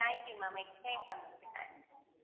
thank you ma'am explain பண்ணதுக்கு thanks